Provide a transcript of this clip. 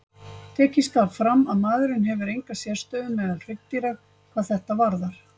Tekið skal fram að maðurinn hefur enga sérstöðu meðal hryggdýra hvað þetta varðar.